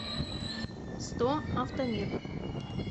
сто автомир